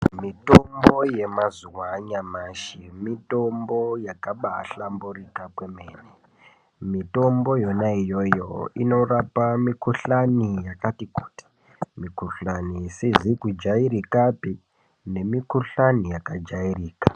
Mitombo yemazuva anyamashi mitombo yakaba hlamburuka kwemene mitombo yona iyoyo inorapa mikuhlani yakati kuti mikuhlani isizi kujairika nemikuhlani yakajairika .